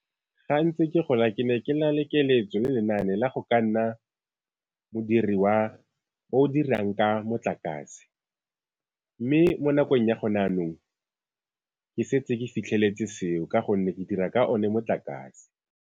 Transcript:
Ga ntse ke gola ke ne ke na le keletso le lenaane la go ka nna modiri wa o dirang ka motlakase, mme mo nakong ya gone jaanong ke setse ke fitlheletse seo ka gonne ke dira ka one motlakase.